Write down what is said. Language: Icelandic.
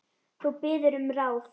Þú biður um ráð.